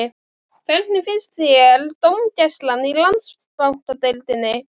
En undir þessu groddalega yfirborði leyndist frábærlega gott hjarta.